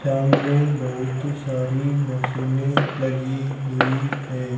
सामने बहुत सारी मशीने लगी हुई है।